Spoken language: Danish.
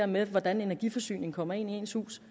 med hvordan energiforsyningen kommer ind i ens hus